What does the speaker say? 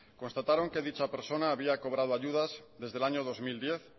constataron que dicha persona había cobrado ayudas desde el año dos mil diez